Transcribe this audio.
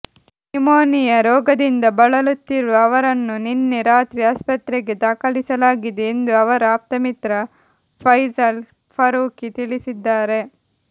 pneumonia ರೋಗದಿಂದ ಬಳಲುತ್ತಿರುವ ಅವರನ್ನು ನಿನ್ನೆ ರಾತ್ರಿ ಆಸ್ಪತ್ರೆಗೆ ದಾಖಲಿಸಲಾಗಿದೆ ಎಂದು ಅವರ ಆಪ್ತಮಿತ್ರ ಫೈಸಲ್ ಫರೂಕಿ ತಿಳಿಸಿದ್ದಾರೆ